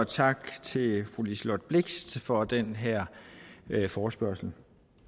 tak til fru liselott blixt for den her forespørgsel